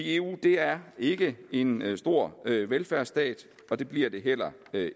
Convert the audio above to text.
eu er ikke en stor velfærdsstat og det bliver det heller